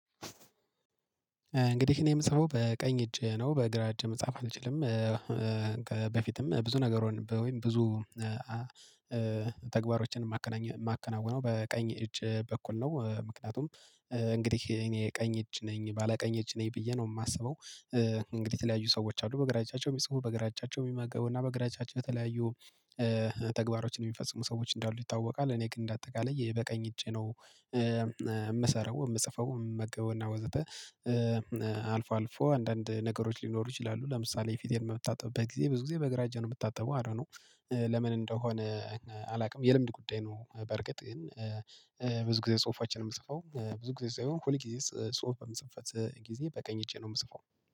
እንግዲህ እኔ የምጽፈው በቀኝ እጄ ነው በግራ እጄ መጻፍ አልችልም። በፊትም ብዙ ነገር ወይም ብዙ ተግባሮችን የማከናውነው በቀኝ እጅ በኩል ነው። ምክንያቱም እንግዲህ እኔ ቀኝ እጅ ነኝ ባለ ቀኝ እጅ ነኝ ብዬ ነው የማስበው። እንግዲህ የተለያዩ ሰዎች አሉ በግራ አጃቸው የሚጽፉ በግራ እጃቸው የሚመገቡና በግራ እጃቸው የተለያዩ ተግባሮችን የሚፈጽሙ ሰዎች እንዳሉ ይታወቃል። እኔ ግን እንደ አጠቃላይ በቀኝ እጄ ነው እምሰራው እምጽፈው እምመገበውና ወዘተ። አልፎ አልፎ አንዳንድ ነገሮች ሊኖሩ ይችላሉ። ለምሳሌ የፊቴን በምታጠብበት ጊዜ ብዙ ጊዜ በግራ እጅ ነው የምታጠበው አይዶንትናው ለምን እንደሆነ አላውቅም። የልምድ ጉዳይ ነው። በርግጥ ይሄን ብዙ ጊዜ ጽሁፋችን የምጽፈው ብዙ ጊዜ ሳይሆን ሁል ጊዜ ጽሁፍ በመጽፈበት ጊዜ በቀኝ እጄ ነው የምጽፈው